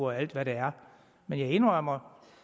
og alt hvad der er men jeg indrømmer